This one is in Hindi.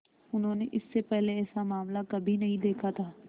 उन्होंने इससे पहले ऐसा मामला कभी नहीं देखा था